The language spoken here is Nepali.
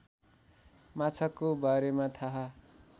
माछाको बारेमा थाहा